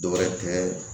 Dɔwɛrɛ tun bɛ